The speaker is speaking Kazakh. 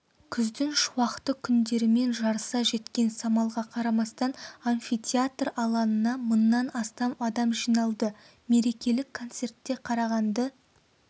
күздің шуақты күндерімен жарыса жеткен самалға қарамастан амфитеатр алаңына мыңнан астам адам жиналды мерекелік концертте қарағанды